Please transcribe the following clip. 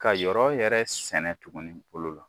Ka yɔrɔ yɛrɛ sɛnɛ tuguni bolo la.